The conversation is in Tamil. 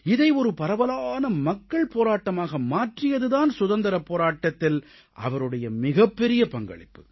இதை ஒரு பரவலான மக்கள் போராட்டமாக மாற்றியது தான் சுதந்திரப் போராட்டத்தில் அவருடைய மிகப்பெரிய பங்களிப்பு